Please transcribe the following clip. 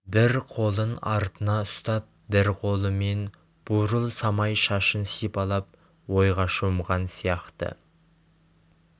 бір қолын артына ұстап бір қолымен бурыл самай шашын сипалап ойға шомған сияқты